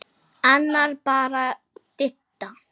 Annars bara Didda.